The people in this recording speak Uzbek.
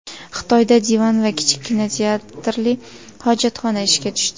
Xitoyda divan va kichik kinoteatrli hojatxona ishga tushdi.